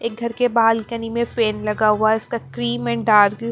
एक घर के बालकनी में फेन लगा हुआ है इसका क्रीम एण्ड डार्क --